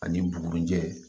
Ani bugurijɛ